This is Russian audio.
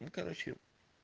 ну короче